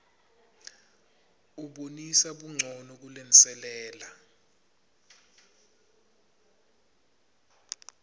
ubonisa buncono kulenselela